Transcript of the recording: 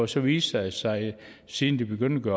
så viste det sig siden de begyndte